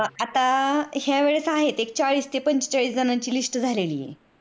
आता ह्या वेळेस आहेत चाळीस ते पंचेचाळीस जनांची list झालेली आहे